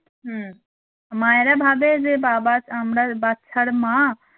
হুম মায়েরা ভাবে যে বাবা আমরার বাচ্চার মা